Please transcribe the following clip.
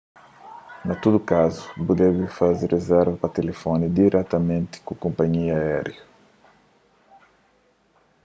na tudu kazu bu debe faze rizerva pa tilifoni diretamenti ku konpanhia aériu